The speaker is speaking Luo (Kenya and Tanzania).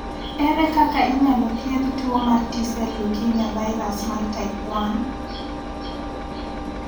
Ere kaka inyalo thiedh tuo mar T sel leukemia virus, mar type 1?